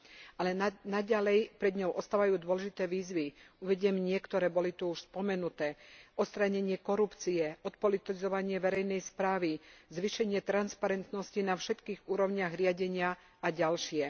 Ale naďalej pred ňou ostávajú dôležité výzvy, uvediem niektoré boli tu už spomenuté odstránenie korupcie, odpolitizovanie verejnej správy, zvýšenie transparentnosti na všetkých úrovniach riadenia a ďalšie.